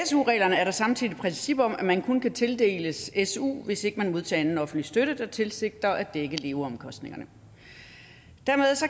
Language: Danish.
su reglerne er der samtidig et princip om at man kun kan tildeles su hvis ikke man modtager anden offentlig støtte der tilsigter at dække leveomkostningerne dermed